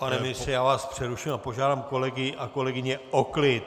Pane ministře, já vás přeruším a požádám kolegy a kolegyně o klid!